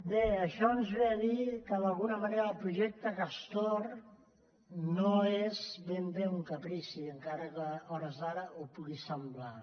bé això ens diu que d’alguna manera el projecte castor no és ben bé un caprici encara que a hores d’ara ho pugui semblar